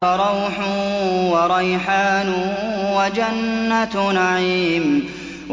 فَرَوْحٌ وَرَيْحَانٌ وَجَنَّتُ نَعِيمٍ